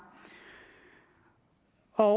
og